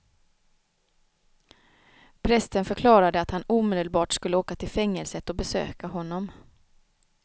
Prästen förklarade att han omedelbart skulle åka till fängelset och besöka honom.